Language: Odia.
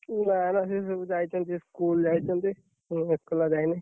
ନା ନା ସିଏ ସବୁ ଯାଇଛନ୍ତି, school ଯାଇଛନ୍ତି। ମୁଁ ଏକେଲା ଯାଇନି।